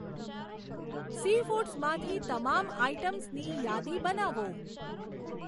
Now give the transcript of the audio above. સીફૂડ્સમાંથી તમામ આઇટમ્સની યાદી બનાવો.